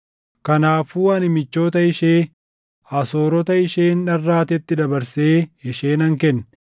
“Kanaafuu ani michoota ishee, Asoorota isheen dharraatetti dabarsee ishee nan kenne.